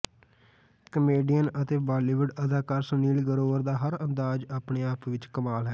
comedian ਅਤੇ ਬਾਲੀਵੁਡ ਅਦਾਕਾਰ ਸੁਨੀਲ ਗਰੋਵਰ ਦਾ ਹਰ ਅੰਦਾਜ ਆਪਣੇ ਆਪ ਵਿਚ ਕਮਾਲ ਹੈ